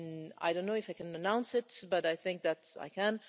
I do not know if I can announce this, but I think that I can.